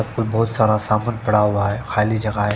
यहाँ पर भोत सारा समन पड़ा हुआ है खाली जगह है।